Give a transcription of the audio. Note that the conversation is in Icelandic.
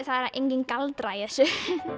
er enginn galdrar í þessu